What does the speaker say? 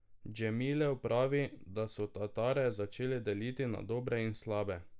Džemilev pravi, da so Tatare začeli deliti na dobre in slabe.